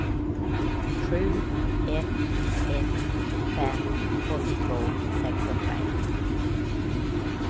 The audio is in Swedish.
sju ett ett fem åttiotvå sexhundraett